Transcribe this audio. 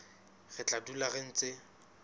re tla dula re ntse